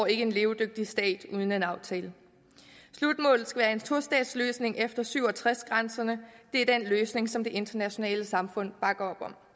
en levedygtig stat uden en aftale slutmålet skal være en tostatsløsning efter nitten syv og tres grænserne det er den løsning som det internationale samfund bakker